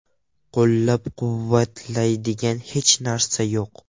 Qo‘llab-quvvatlaydigan hech narsa yo‘q.